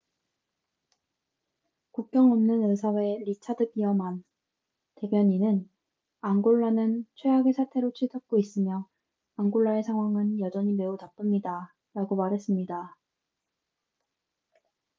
"국경 없는 의사회 리차드 비어만richard veerman 대변인은 "앙골라는 최악의 사태로 치닫고 있으며 앙골라의 상황은 여전히 매우 나쁩니다""라고 말했습니다.